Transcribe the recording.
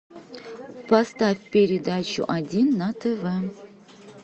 поставь передачу один на тв